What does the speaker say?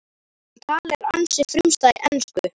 Hann talar ansi frumstæða ensku